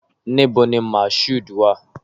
Níbo ni Mashood wà?